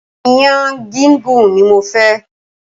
Iyán gígún ni mofẹ́.